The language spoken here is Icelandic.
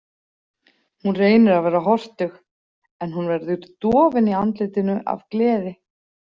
Hún reynir að vera hortug, en hún verður dofin í andlitinu af gleði.